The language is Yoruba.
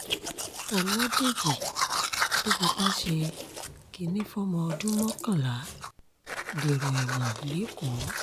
ọlọ́dẹ́jì tó fipá ṣe kínní fọmọ ọdún mọ́kànlá dèrò ẹ̀wọ̀n lẹ́kọ̀ọ́